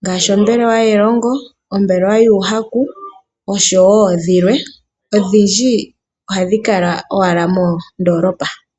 ngaashi ombelewa yelongo, ombelewa yuuhaku noshowo dhilwe. Odhindji ohadhi kala owala moondoolopa.